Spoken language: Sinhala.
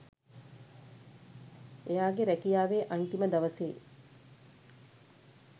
එයාගේ රැකියාවේ අන්තිම දවසේ